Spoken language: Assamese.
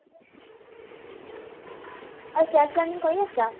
আৰু leaning কৰি আছা ?